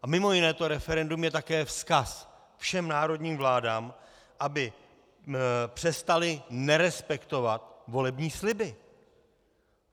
A mimo jiné to referendum je také vzkaz všem národním vládám, aby přestaly nerespektovat volební sliby.